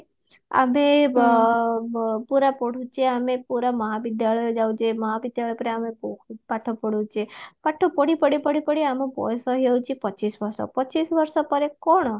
ଆବେ ବ ବ ପୁରା ପଢୁଚେ ଆମେ ପୁରା ମହାବିଦ୍ୟାଳୟ ଯାଉଚେ ମହାବିଦ୍ୟାଳୟ ଆମେ ବହୁତ ପାଠ ପଢୁଛେ ପାଠ ପଢି ପଢି ପଢି ପଢି ଆମ ବୟସ ହେଇଯାଉଚି ପଚିଶ ବର୍ଷ ପଚିଶ ବର୍ଷ ପରେ କଣ